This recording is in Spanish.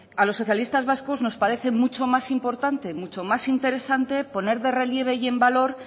a los socialistas vasco no parece muchos más importante mucho más interesante poner en relieve y en valor